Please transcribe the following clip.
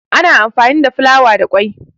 ana anfami da fulawa da kwai